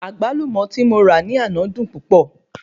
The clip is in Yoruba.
Àgbálùmó tí mo ra ní àná dùn púpọ̀